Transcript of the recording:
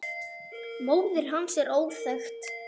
Móðir hans er óþekkt.